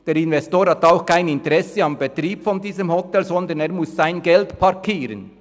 Der Investor hat kein Interesse am Betrieb dieses Hotels, sondern er muss sein Geld parkieren.